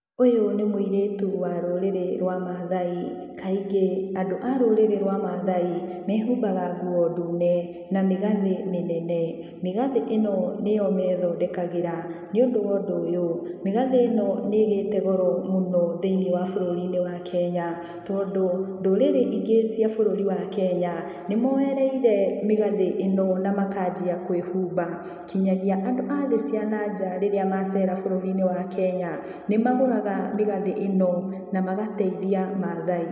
Ũyũ nĩ mũirĩtu wa rũrĩrĩ rwa Maathai. Kaingĩ, andũ a rũrĩrĩ rwa Maathai mehumbaga nguo ndune, na mĩgathĩ mĩnene. Mĩgathĩ ĩno nĩyo methondekagĩra, nĩ ũndũ wa ũndũ ũyũ, mĩgathĩ ĩno nĩ ĩgĩte goro mũno thĩiniĩ wa bũrũri-inĩ wa Kenya. Tondũ ndũrĩrĩ ingĩ cia bũrũri wa Kenya, nĩmoerereire mĩgathĩ ĩno na makanjia kwĩhumba, kinyagia andũ a thĩ cia nanja rĩrĩa macera bũrũri-inĩ wa Kenya, nĩmagũraga mĩgathĩ ĩno, na magateithia Maathai.